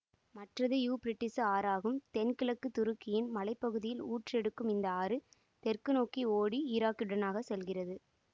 மற்றது இயூபிரட்டீசு ஆறு ஆகும் தென்கிழக்குத் துருக்கியின் மலை பகுதியில் ஊற்றெடுக்கும் இந்த ஆறு தெற்கு நோக்கி ஓடி ஈராக்கினூடாகச் செல்கிறது